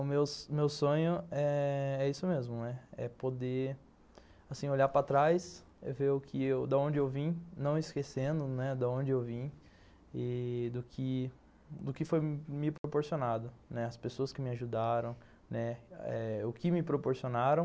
O meu sonho é isso mesmo, é poder, assim, olhar para trás e ver de onde eu vim, não esquecendo de onde eu vim e do que do que foi me proporcionado, as pessoas que me ajudaram, o que me proporcionaram.